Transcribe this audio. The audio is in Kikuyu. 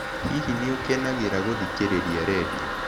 Hihi nĩ ũkenagĩra gũthikĩrĩria redio?